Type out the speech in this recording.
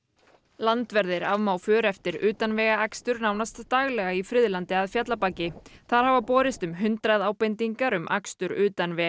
landverðir afmá för eftir utanvegaakstur nánast daglega í Friðlandi að Fjallabaki þar hafa borist um hundrað ábendingar um akstur utan vega